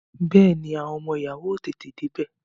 Bẹẹni, àwọn ọmọ ìyàwó ó tètè dé bẹ